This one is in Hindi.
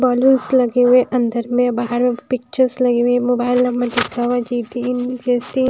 बलूंस लगे हुए हैं अंदर में बाहर में पिक्चर्स लगी हुई मोबाइल नंबर चिपका हुआ है। GT GST